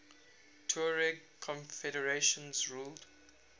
tuareg confederations ruled